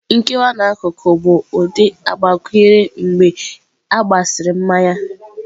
Nkewa n'akụkụ bụ ụdị agbakwunyere mgbe a gbasịrị mmanya.